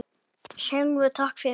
Segðu takk fyrir.